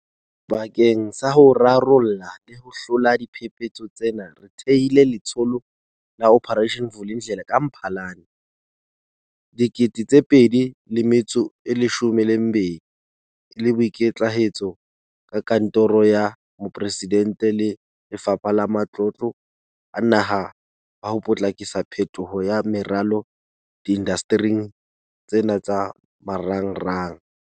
Bakeng sa ho rarolla le ho hlola diphephetso tsena, re thehile Letsholo la Operation Vulindlela ka Mphalane 2020 e le boikitlahetso ba Kantoro ya Moporesidente le Lefapha la Matlotlo a Naha ba ho potlakisa phetoho ya meralo diindastering tsena tsa marangrang.